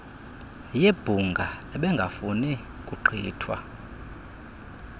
yebhunga ebengafuni kugqithwa